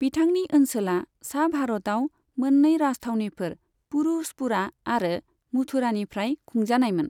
बिथांनि ओनसोला सा भारताव मोननै राजथावनिफोर पुरुषपुरा आरो मथुरानिफ्राय खुंजानायमोन।